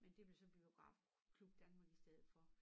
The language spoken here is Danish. Men det blev så Biografklub Danmark i stedet for